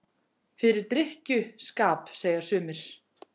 Fyrir drykkju- skap, segja sumir.